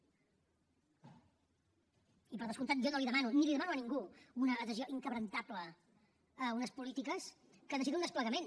i per descomptat jo no li demano ni la demano a ningú una adhesió indestructible a unes polítiques que necessiten un desplegament